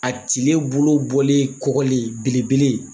A tile bolo bɔlen kɔgɔlen belebele